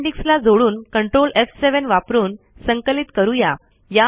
appendix ला जोडुन ctrl एफ7 वापरून संकलित करूया